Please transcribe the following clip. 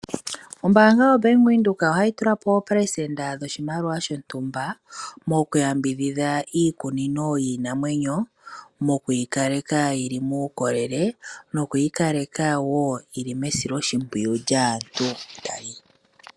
Ombaanga yoBank Windhoek ohayi tula po oopelesenda dhoshimaliwa dhontumba mokuyambidhidha iikunino yiinamwenyo mokuyikaleka yili muukolele nokuyi kaleka wo yili mesiloshimpwiyu lyaantu.